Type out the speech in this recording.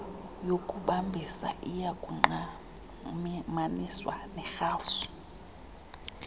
yokubambisa iyakungqamaniswa nerhafu